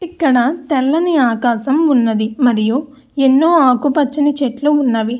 ఇక్కడ తెల్లని ఆకాశం ఉన్నది. మరియు ఎన్నో ఆకుపచ్చని చెట్లు ఉన్నవి.